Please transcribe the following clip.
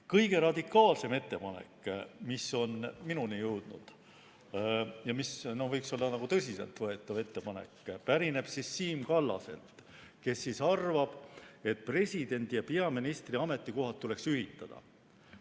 Kõige radikaalsem ettepanek, mis on minuni jõudnud ja mis võiks olla tõsiselt võetav ettepanek, pärineb Siim Kallaselt, kes arvab, et presidendi ja peaministri ametikohad tuleks ühitada.